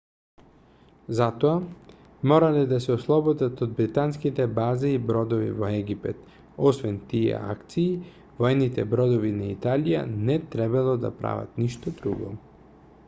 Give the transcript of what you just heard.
за тоа морале да се ослободат од британските бази и бродови во египет освен тие акции воените бродови на италија не требало да прават ништо друго